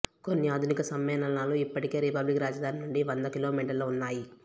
కొన్ని ఆధునిక సమ్మేళనాలు ఇప్పటికే రిపబ్లిక్ రాజధాని నుండి వంద కిలోమీటర్ల ఉన్నాయి